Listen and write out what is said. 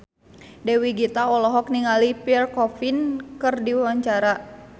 Dewi Gita olohok ningali Pierre Coffin keur diwawancara